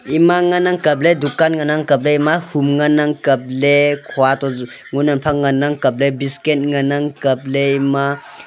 ima nganang kaple dukan nganang kaple ima fun nganang kaple khua to ju ngunang phang nganang kaple biscuit ngan ang kaple ima.